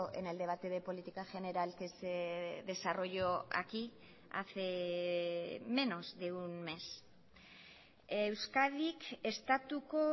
en el debate de política general que se desarrolló aquí hace menos de un mes euskadik estatuko